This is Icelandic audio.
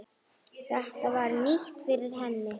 Þetta var nýtt fyrir henni.